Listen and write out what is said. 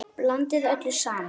Blandið öllu saman.